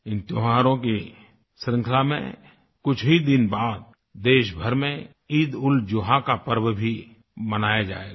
इन त्योहारों की श्रृंखला में कुछ ही दिन बाद देश भर में ईदउलजुहा का पर्व भी मनाया जाएगा